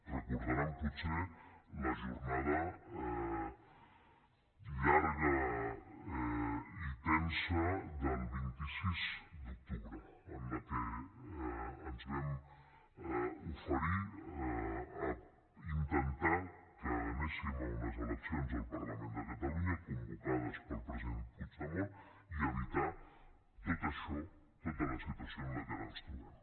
recordaran potser la jornada llarga i tensa del vint sis d’octubre en la que ens vam oferir a intentar que anéssim a unes eleccions al parlament de catalunya convocades pel president puigdemont i evitar tot això tota la situació en la que ara ens trobem